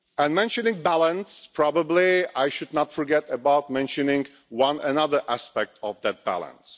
Mentioning balance, I probably should not forget to mention one other aspect of that balance.